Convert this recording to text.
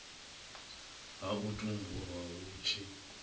ha u tumbulwa hu tshi